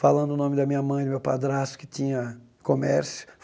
Falando o nome da minha mãe, do meu padrasto, que tinha comércio.